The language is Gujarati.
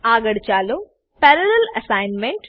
આગળ ચાલો પેરાલેલ અસાઇનમેન્ટ